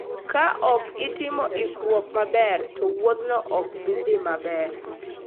Kaok itimo ikruok maber, to wuodhino ok bi dhi maber.